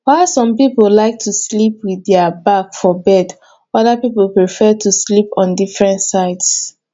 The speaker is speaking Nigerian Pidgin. while some pipo like to sleep with their back for bed oda pipo prefer to sleep on different sides